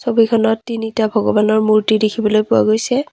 ছবিখনত তিনিটা ভগৱানৰ মূৰ্ত্তি দেখিবলৈ পোৱা গৈছে।